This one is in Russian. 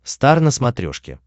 стар на смотрешке